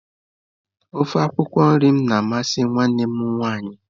Ofe akwụkwọ nri m na amasị nwanne m nwaanyị